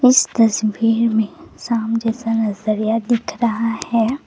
इस तस्वीर में शाम जैसा नजरिया दिख रहा है।